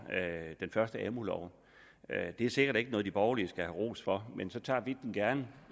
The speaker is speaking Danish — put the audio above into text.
den første amu lov det er sikkert ikke noget de borgerlige skal have ros for men så tager vi den gerne